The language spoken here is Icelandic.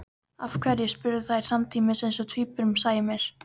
Af hverju? spurðu þær samtímis eins og tvíburum sæmir.